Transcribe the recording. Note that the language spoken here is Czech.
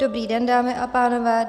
Dobrý den, dámy a pánové.